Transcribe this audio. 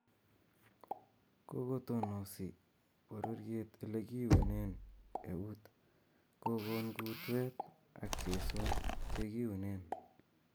Kokotonosi bororyet ele kiyunen ewuut ,kogon kuutweet ak chesoon chekiyuunen